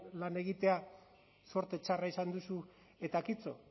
lan egitea zorte txarra izan duzu eta kitto